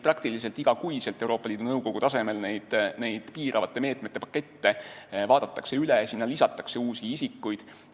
Praktiliselt iga kuu vaadatakse Euroopa Liidu Nõukogu tasemel piiravate meetmete paketid üle, sinna lisatakse uusi isikuid.